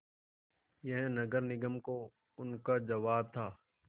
यह नगर निगम को उनका जवाब था